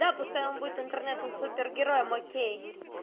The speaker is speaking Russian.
да пускай он будет интернетом супер героем окей